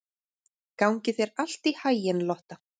Gangi þér allt í haginn, Lotta.